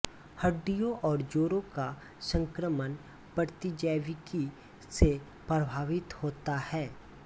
हड्डियों और जोड़ों का संक्रामण प्रतिजैविकी से प्रभावित होता है